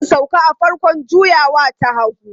Zan sauka a farkon juyawa ta hagu.